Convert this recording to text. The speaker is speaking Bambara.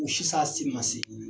O ni sisan ye samiya seegin ye.